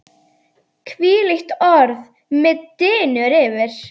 Hvílíkt orð mig dynur yfir!